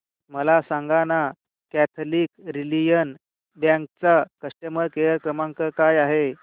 मला सांगाना Catholic Syrian bank चा कस्टमर केअर क्रमांक काय आहे